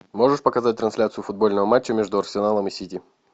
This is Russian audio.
можешь показать трансляцию футбольного матча между арсеналом и сити